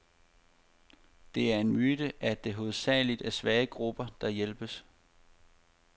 Det er en myte, at det hovedsageligt er svage grupper, der hjælpes.